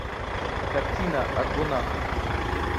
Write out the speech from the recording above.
картина аргонавты